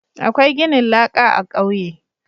Akwai ginin laƙa a kauye